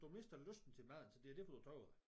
Du mister lysten til maden så det er derfor du taber dig